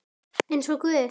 Eins og guð?